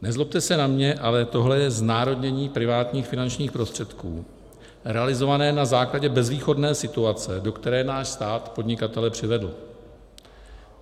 Nezlobte se na mě, ale tohle je znárodnění privátních finančních prostředků realizované na základě bezvýchodné situace, do které náš stát podnikatele přivedl.